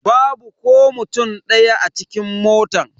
Babu ko mutum daya a cikin motan.